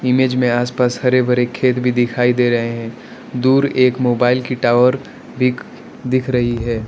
Image में आस पास हरे भरे खेत भी दिखाई दे रहे हैं दूर एक मोबाइल की टावर भी दिख रही है।